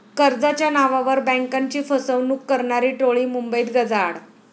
कर्जाच्या नावावर बँकाची फसवणूक करणारी टोळी मुंबईत गजाआड